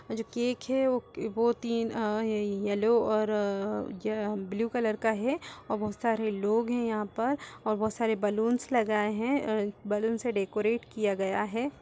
और जो केक वो तीन अ येल्लो और अ ज ब्लू कलर का है और बहुत सारे लोग हैं यहाँ पर और बहुत सारे बलूंस हैं अ बलूंस से डेकोरेट किया गया है।